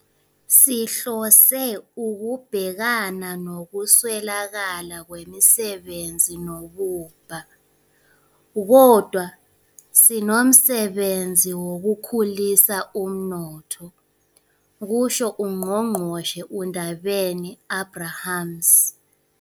"Sihlose ukubhekana nokuswelakala kwemisebenzi nobubha, kodwa sinomsebenzi wokukhulisa umnotho," kusho uNgqongqoshe uNdabeni-Abrahams.